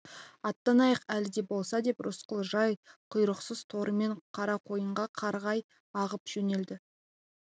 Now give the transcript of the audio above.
аттанайық әлі де болса деп рысқұл жал-құйрықсыз торымен қарақойынға қарай ағып жөнелді